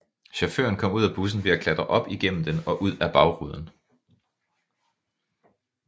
Chaufføren kom ud af bussen ved at klatre op igennem den og ud af bagruden